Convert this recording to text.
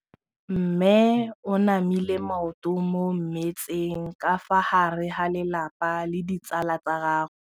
Mme o namile maoto mo mmetseng ka fa gare ga lelapa le ditsala tsa gagwe.